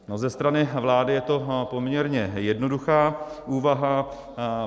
Ze strany vlády je to poměrně jednoduchá úvaha.